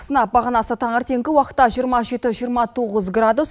сынап бағанасы таңертеңгі уақытта жиырма жеті жиырма тоғыз градус